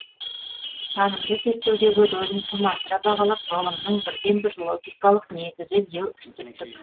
танымды зерттеудегі рөлін тым асыра бағалап ғылымның бірден бір логикалық негізі деу үстірттік